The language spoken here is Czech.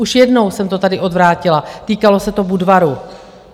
Už jednou jsem to tady odvrátila, týkalo se to Budvaru.